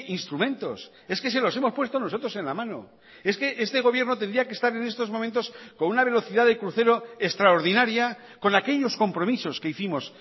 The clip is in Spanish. instrumentos es que se los hemos puesto nosotros en la mano es que este gobierno tendría que estar en estos momentos con una velocidad de crucero extraordinaria con aquellos compromisos que hicimos